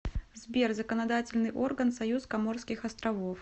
сбер законодательный орган союз коморских островов